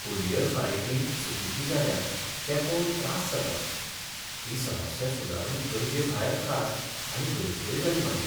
Courier फारीकणी चुकीची जाल्या तें पळोवन त्रास जाता. ही समस्या सुदारूंक गरजे भायर त्रास आनी गैरसोय जाली मागीर.